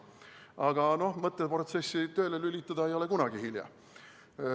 Aga mõtteprotsessi tööle lülitada ei ole kunagi hilja.